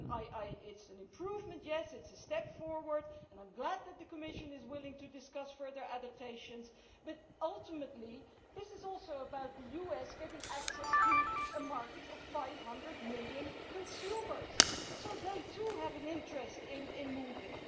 It is an improvement, it is a step forward, and I am glad that the Commission is willing to discuss further adaptations, but ultimately this is also about the US getting access to a market of 500 million consumers, so they too have an interest in moving.